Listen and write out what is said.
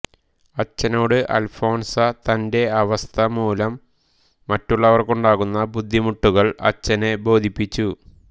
അച്ചനോട് അൽഫോൻസ തന്റെ അവസ്ഥ മൂലം മറ്റുള്ളവർക്കുണ്ടാകുന്ന ബുദ്ധിമുട്ടുകൾ അച്ചനെ ബോധിപ്പിച്ചു